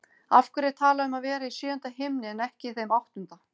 Af hverju er talað um að vera í sjöunda himni en ekki þeim áttunda?